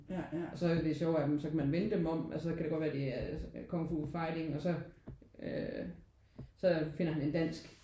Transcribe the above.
Og så det sjove af dem så kan man vende dem om. Så kan det godt være at det er Kung Fu Fighting og så øh så finder han en dansk